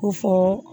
Ko fɔ